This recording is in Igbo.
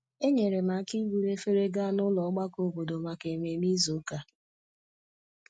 Enyere m aka iburu efere gaa nụlọ ogbako obodo maka ememe izu ụka